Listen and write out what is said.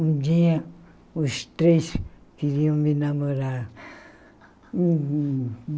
Um dia, os três queriam me namorar.